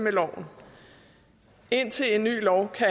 eu dommen indtil en ny lov har